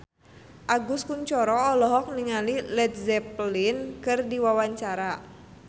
Agus Kuncoro olohok ningali Led Zeppelin keur diwawancara